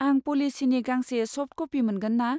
आं पलिसिनि गांसे सफ्ट कपि मोनगोन ना ?